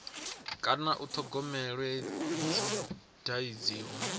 kana u thogomelwa dzi dadziwa